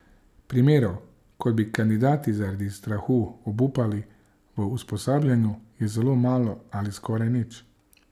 Primerov, ko bi kandidati zaradi strahu obupali v usposabljanju, je zelo malo ali skoraj nič.